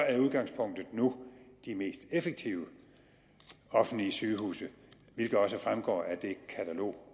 er udgangspunktet nu de mest effektive offentlige sygehuse hvilket også fremgår af det katalog